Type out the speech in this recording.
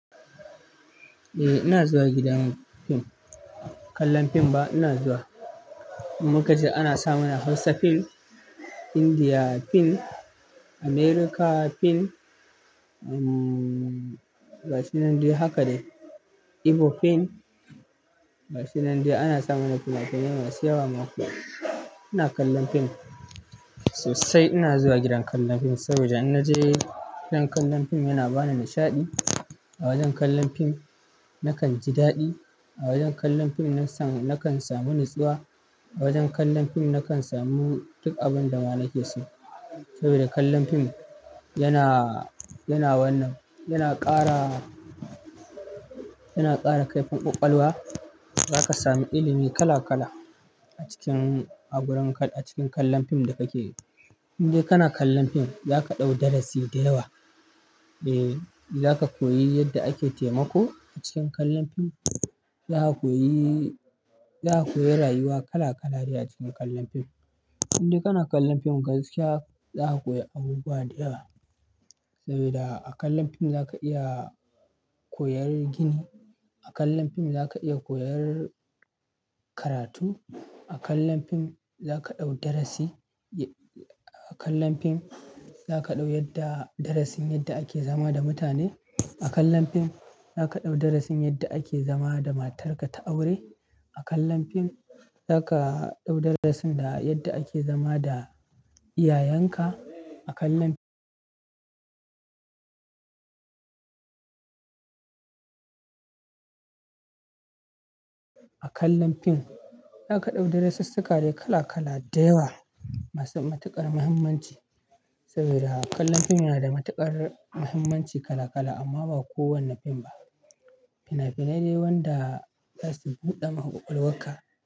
Eh ina zuwa gidan fim, kallon fim ba ina zuwa. Inkaje ana samana Hausa fim, Indiya fim, Amerika fim, umm, gashin nan dai haka dai Igbo fim, gashin nan dai ana samana fina-finai masu yawa ma. Ina kallon fim sosai, ina zuwa gidan kallon fim saboda in naje gidan kallon fim yana bani nishaɗi. A wajan kallon fim nakan ji daɗi, a wajan kallon fim nakan samu natsuwa, a wajan kallon fim nakan samu duk abinda ma nake so. Saboda kallon fim yana, yana wannan, yana ƙara, yana ƙara kaifin ƙwaƙwalwa. Zaka samu ilimi kala-kala a cikin, a gurin, a cikin kallon fim da kake yi. Inde kana kallon fim zaka ɗau darasi da yawa. Eh, zaka koyi yadda ake taimako a cikin kallon fim. Za ka koyi, za ka koyi rayuwa kala-kala ne a cikin kallon fim. Inde kana kallon fim gaskiya za ka koyi abubuwa da yawa. Sabida a kallon fim zaka iya koyar gini, a kallon fim zaka iya koyar karatu, a kallon fim zaka ɗau darasi. A kallon fim zaka ɗau yadda darasin yadda ake zama da mutane a kallon fim zaka ɗau darasin yadda ake zama da matarka ta aure. A kallon fim zaka ɗau darasin da yadda ake zama da iyayenka a kallon fim zaka ɗau darasussuka dai kala-kala da yawa masu matuƙar muhimmanci. Saboda kallon fim yana da matuƙar muhimmanci kala-kala amma ba kowane fim ba. Fina-finai dai wanda zasu buɗama ƙwaƙwalwarka.